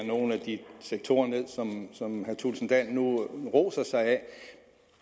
nogle af de sektorer som herre thulesen dahl nu roser sig af